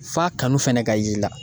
F'a kanu fɛnɛ ka yi i la.